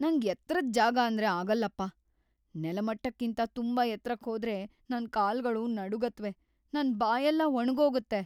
ನಂಗ್ ಎತ್ರದ್‌ ಜಾಗಾಂದ್ರೆ ಆಗಲ್ಲಪ್ಪ. ನೆಲಮಟ್ಟಕ್ಕಿಂತ ತುಂಬಾ ಎತ್ರಕ್ ಹೋದ್ರೆ ನನ್ ಕಾಲ್ಗಳು ನಡುಗತ್ವೆ, ನನ್ ಬಾಯೆಲ್ಲ ಒಣಗೋಗತ್ತೆ.